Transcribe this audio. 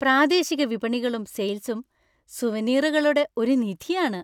പ്രാദേശിക വിപണികളും സെയിൽസും സുവനീറുകളുടെ ഒരു നിധിയാണ്.